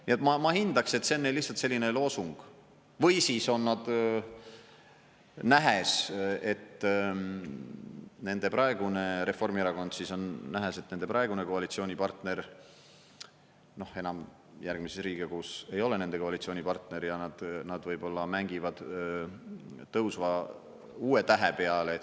Nii et, ma hindaks, et see on neil lihtsalt selline loosung, või siis on nad, nähes, et nende praegune Reformierakond, siis on nähes, et nende praegune koalitsioonipartner, noh, enam järgmises Riigikogus ei ole nende koalitsioonipartner, ja nad võib-olla mängivad tõusva uue tähe peale.